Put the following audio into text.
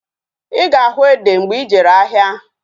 Ịga ahu ede mgbe ijere ahịa